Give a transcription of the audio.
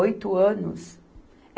Oito anos?